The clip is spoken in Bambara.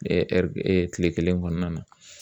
kile kelen kɔnɔna na